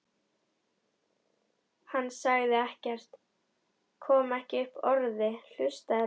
Hann sagði ekkert, kom ekki upp orði, hlustaði bara.